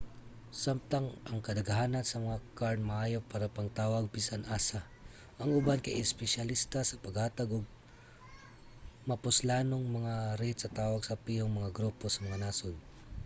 samtang ang kadaghanan sa mga kard maayo para pangtawag bisan asa ang uban kay espesyalista sa paghatag og mapuslanong mga rate sa tawag sa pihong mga grupo sa mga nasod